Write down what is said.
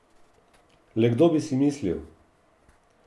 Le kdo bi si mislil?